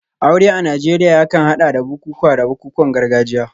Aure a Najeriya yakan hada da bukukuwa da bukukuwan gargajiya.